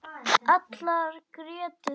Allar grétu þær.